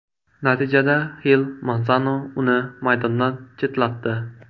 Natijada Xil Mansano uni maydondan chetlatdi.